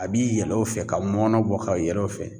A bi yɛlɛ o fɛ ka mɔnɔ bɔ ka yɛlɛ o fɛ